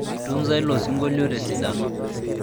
itunza ilo osinkolio tesidano